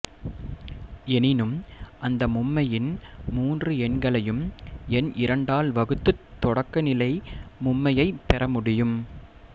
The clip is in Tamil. எனினும் அந்த மும்மையின் மூன்று எண்களையும் எண் இரண்டால் வகுத்துத் தொடக்கநிலை மும்மையைப் பெறமுடியும்